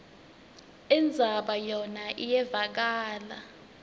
indzaba yona iyevakala